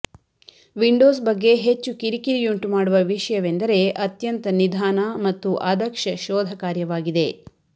Windows ಬಗ್ಗೆ ಹೆಚ್ಚು ಕಿರಿಕಿರಿಯುಂಟುಮಾಡುವ ವಿಷಯವೆಂದರೆ ಅತ್ಯಂತ ನಿಧಾನ ಮತ್ತು ಅದಕ್ಷ ಶೋಧ ಕಾರ್ಯವಾಗಿದೆ